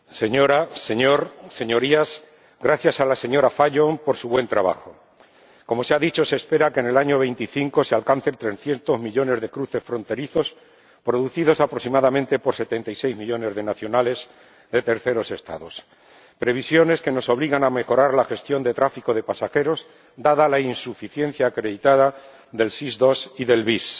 Señora Presidenta, señor Comisario, Señorías, gracias a la señora Fajon por su buen trabajo. Como se ha dicho, se espera que en el año 2025 se alcancen 300 millones de cruces fronterizos, producidos aproximadamente por 76 millones de nacionales de terceros Estados, previsiones que nos obligan a mejorar la gestión del tráfico de pasajeros, dada la insuficiencia acreditada del SIS II y del VIS.